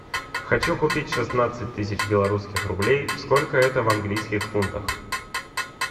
хочу купить шестнадцать тысяч белорусских рублей сколько это в английских фунтах